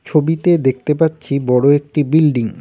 ছবিতে দেখতে পাচ্ছি বড়ো একটি বিল্ডিং ।